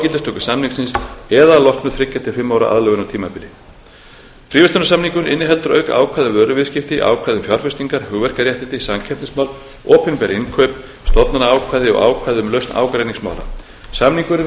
gildistöku samningsins eða að loknu þremur til fimm ára aðlögunartímabili fríverslunarsamningurinn inniheldur auk ákvæða um vöruviðskipti ákvæði um fjárfestingar hugverkaréttindi samkeppnismál opinber innkaup stofnanaákvæði og ákvæði um lausn ágreiningsmála samningurinn við bosníu og